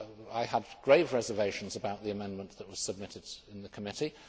I had grave reservations about the amendment that was submitted in the committee.